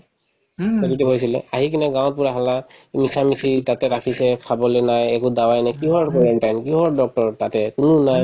positive হৈছিলে আহিকিনে গাঁৱত পূৰা হাল্লা মিছামিছি তাতে ৰাখিছে একো খাবলে নাই একো dawai নাই কিহৰ quarantine কিহৰ doctor ৰ তাতে কোনো নাই